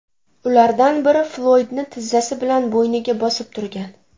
Ulardan biri Floydni tizzasi bilan bo‘yniga bosib turgan.